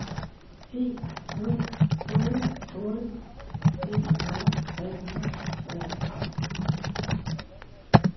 en nul otte otte enogfyrre tre hundrede og treoghalvfjerds